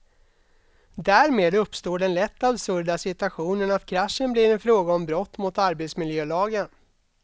Därmed uppstår den lätt absurda situationen att kraschen blir en fråga om brott mot arbetsmiljölagen.